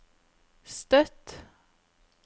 Støtt